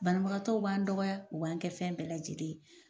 Banabagatɔw b'an dɔgɔya u b'an kɛ fɛn bɛɛ lajɛlen ye